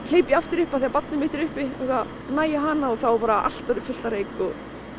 hleyp ég aftur upp af því að barnið mitt er uppi og næ í hana þá er bara allt orðið fullt af reyk við